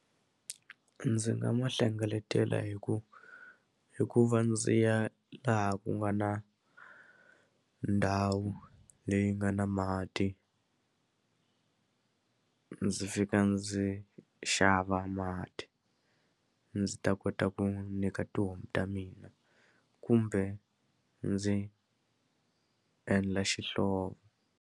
Ndzi nga ma hlengeletela hi ku hi ku va ndzi ya laha ku nga na ndhawu leyi nga na mati ndzi fika ndzi xava mati ndzi ta kota ku nyika tihomu ta mina kumbe ndzi endla xihlovo.